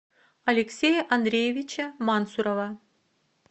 алексея андреевича мансурова